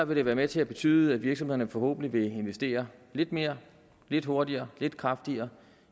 vil det være med til at betyde at virksomhederne forhåbentlig vil investere lidt mere lidt hurtigere lidt kraftigere